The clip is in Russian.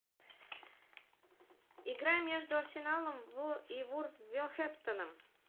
игра между арсеналом и вулверхэмптоном